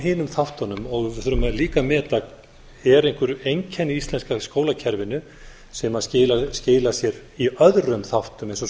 hinum þáttunum við þurfum líka að meta eru einhver einkenni í íslenska skólakerfinu sem skilar sér í öðrum þáttum eins og